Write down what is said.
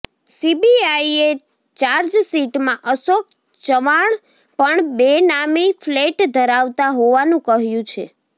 સીબીઆઇએ ચાર્જશીટમાં અશોક ચવાણ પણ બેનામી ફ્લૅટ ધરાવતા હોવાનું કહ્યું છે